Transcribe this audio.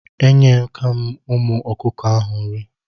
Enyeka m ụmụ ọkụkọ ahụ nri.